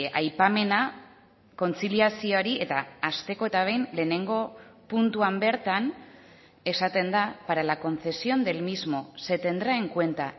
aipamena kontziliazioari eta hasteko eta behin lehenengo puntuan bertan esaten da para la concesión del mismo se tendrá en cuenta